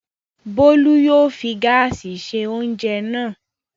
Bólú yóò fi gáásì se oúnjẹ náà.